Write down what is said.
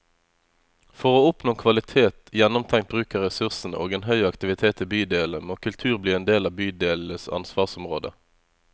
For å oppnå kvalitet, gjennomtenkt bruk av ressursene og en høy aktivitet i bydelene, må kultur bli en del av bydelenes ansvarsområde.